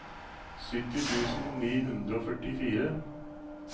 sytti tusen ni hundre og førtifire